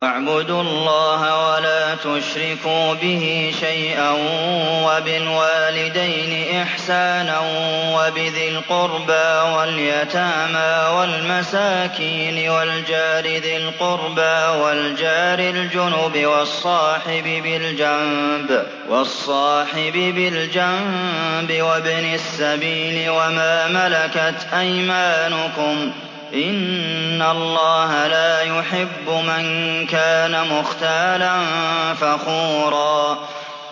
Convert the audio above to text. ۞ وَاعْبُدُوا اللَّهَ وَلَا تُشْرِكُوا بِهِ شَيْئًا ۖ وَبِالْوَالِدَيْنِ إِحْسَانًا وَبِذِي الْقُرْبَىٰ وَالْيَتَامَىٰ وَالْمَسَاكِينِ وَالْجَارِ ذِي الْقُرْبَىٰ وَالْجَارِ الْجُنُبِ وَالصَّاحِبِ بِالْجَنبِ وَابْنِ السَّبِيلِ وَمَا مَلَكَتْ أَيْمَانُكُمْ ۗ إِنَّ اللَّهَ لَا يُحِبُّ مَن كَانَ مُخْتَالًا فَخُورًا